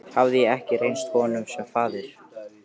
Hafði ég ekki reynst honum sem faðir?